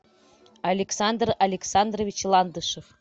александр александрович ландышев